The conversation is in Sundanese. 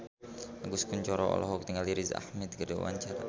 Agus Kuncoro olohok ningali Riz Ahmed keur diwawancara